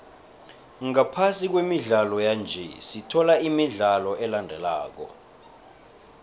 ngaphasi kwemidlalo yanje sithola imidlalo elandelako